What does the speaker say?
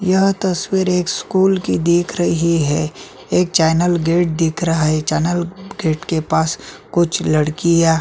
यह तस्वीर एक स्कूल की दिख रही है एक चेंनल गेट दिख रह है चेंनल गेट के पास कुछ लड़कियां --